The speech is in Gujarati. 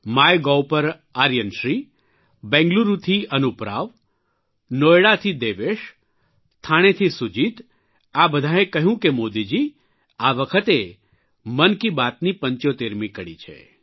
માય ગોવ પર આર્યન બેંગલુરૂથી અનૂપ રાવ નોયડાથી દેવેશ થાણેથી સુજીત આ બધાંએ કહ્યું કે મોદીજી આ વખતે મનકી બાતની પંચોતેરમી કડી છે